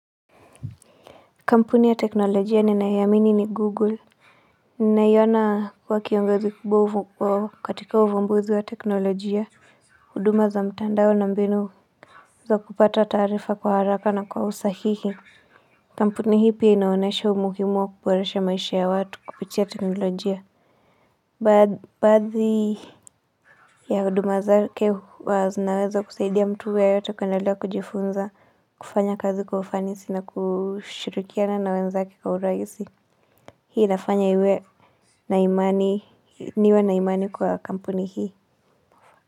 Kampuni ya teknolojia ninayoamini ni google Ninaiona kuwa kiongozi kubwa kwa katika uvumbuzi wa teknolojia huduma za mtandao na mbinu za kupata taarifa kwa haraka na kwa usahihi Kampuni hii pia inaonyesha umuhimu wa kuboresha maisha ya watu kupitia teknolojia Baadhi ya huduma zake zinaweza kusaidia mtu yeyote kuendelea kujifunza kufanya kazi kwa ufanisi na kushirikiana na wenzake kwa urahisi Hii inafanya iwe na imani, niwe na imani kwa kampuni hii.